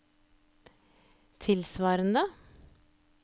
tilsvarende